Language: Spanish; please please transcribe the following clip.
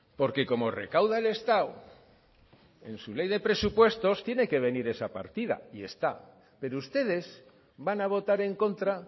porque como recauda el estado en su ley de presupuestos tiene que venir esa partida y está pero ustedes van a votar en contra